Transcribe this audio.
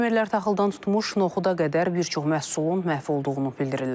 Fermerlər taxıldan tutmuş noxuda qədər bir çox məhsulun məhv olduğunu bildirirlər.